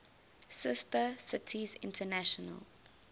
sister cities international